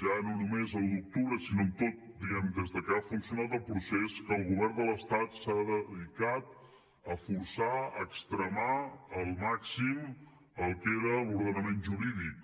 ja no només a l’un d’octubre sinó en tot diguem ne des de que ha funcionat el procés que el govern de l’estat s’ha dedicat a forçar a extremar al màxim el que era l’ordenament jurídic